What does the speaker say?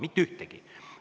Mitte ühtegi!